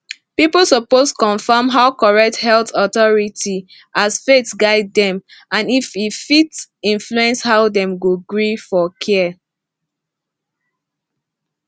people suppose confirm from correct health authority as faith guide am and e fit influence how dem go gree for care